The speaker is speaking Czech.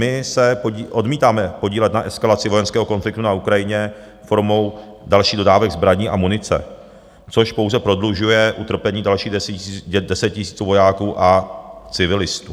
My se odmítáme podílet na eskalaci vojenského konfliktu na Ukrajině formou dalších dodávek zbraní a munice, což pouze prodlužuje utrpení dalších deseti tisíců vojáků a civilistů.